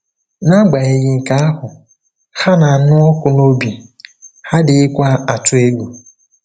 N'agbanyeghị nke ahụ, ha na-anụ ọkụ n'obi, ha adịghịkwa atụ egwu.